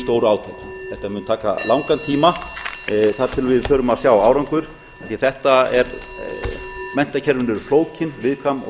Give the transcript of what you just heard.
stóru átaki þetta mun taka langan tíma þar til við förum að sjá árangur því að menntakerfin eru flókin viðkvæm og